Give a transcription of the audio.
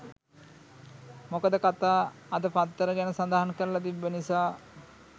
මොකද කකා අද පත්තර ගැන සදහනක් කරල තිබ්බ නිසා.